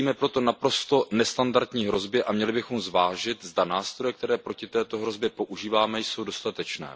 Čelíme proto naprosto nestandardní hrozbě a měli bychom zvážit, zda nástroje, které proti této hrozbě používáme, jsou dostatečné.